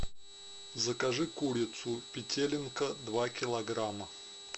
закажи курицу петелинка два килограмма